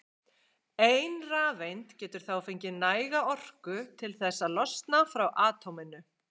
Ein rafeind getur þá fengið næga orku til þess að losna frá atóminu.